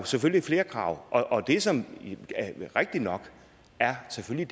selvfølgelig flere krav og det som er rigtig nok er selvfølgelig